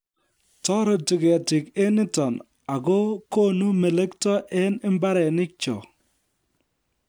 Toreti ketiik eng nito ako konu melekto eng mbaranikcho